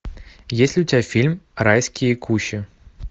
есть ли у тебя фильм райские кущи